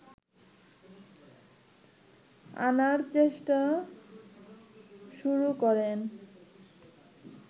আনার চেষ্টা শুরু করেন